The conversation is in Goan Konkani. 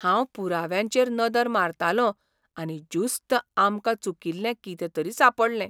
हांव पुराव्यांचेर नदर मारतालों आनी ज्युस्त आमकां चुकील्लें कितें तरी सांपडलें.